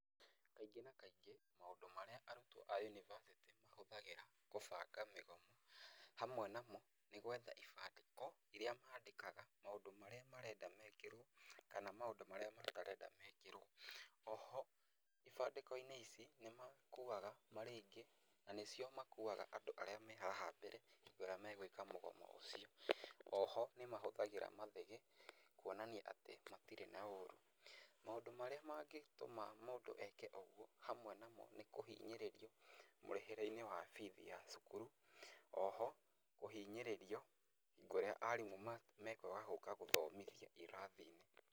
Kaingĩ na kaingĩ maũndũ marĩa arutwo a yunibacĩtĩ mahũthagĩra kũbanga mĩgomo, nĩ gwetha ibandĩko iria mandĩkaga maũndũ marĩa marenda meekĩrwo, kana maũndũ marĩa matarenda meekĩrwo. O ho ibandĩko-inĩ ici, nĩ makuaga marĩ aingĩ na nĩ cio makuaga andũ arĩa me haha mbere rĩrĩa megũĩka mũgomo ũcio. O ho nĩ mahũthagĩra mathĩgĩ kũonania atĩ matirĩ na ũrũ. Maũndũ marĩa mangĩtũma mũndũ eke ũguo hamwe namo nĩ, kũhinyĩrĩrio mũrĩhĩre-inĩ wa bithi ya cukuru. O ho kũhinyĩrĩrio kũrĩa arimũ mekũaga gũũka gũthomithia irathi-inĩ.